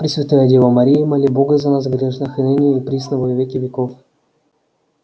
пресвятая дева мария моли бога за нас грешных и ныне и присно и во веки веков